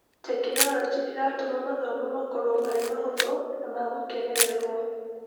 Tekinorojĩ ĩratũma mathomo makorwo marĩ mahũthũ na ma gũkenererwo.